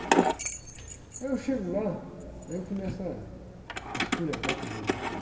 Aí eu chego lá, aí eu começo ah, a esculhambar com Jesus Cristo.